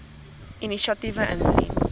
inisiatiewe insien